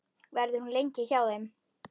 Verður hún lengi hjá þér?